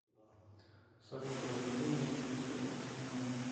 салют разбуди меня через пятнадцать минут